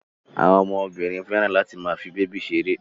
Àwọn ọmọbìnrin fẹ́ràn láti máa fi bèbí ṣeré.